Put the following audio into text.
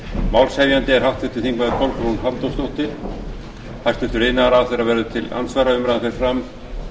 málshefjandi er háttvirtir þingmenn kolbrún halldórsdóttir hæstvirtur iðnaðarráðherra verður til andsvara umræðan fer fram